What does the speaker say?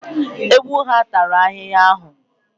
Ewu ha a tara ahịhịa ahụ?